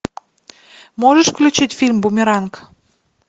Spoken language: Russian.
можешь включить фильм бумеранг